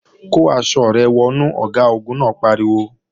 Kó aṣọ rẹ wọnú! Ọ̀gágun náà pariwo